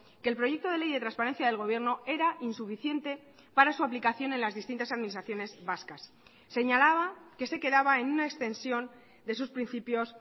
que el proyecto de ley de transparencia del gobierno era insuficiente para su aplicación en las distintas administraciones vascas señalaba que se quedaba en una extensión de sus principios